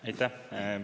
Aitäh!